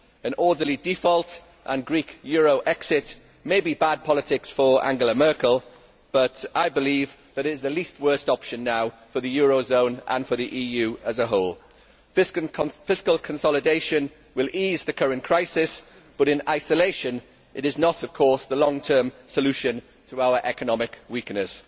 An orderly default and a Greek euro exit may be bad politics for Angela Merkel, but I believe it is the least worst' option now for the euro area and for the EU as a whole. Fiscal consolidation will ease the current crisis, but in isolation it is not the long term solution to our economic weakness.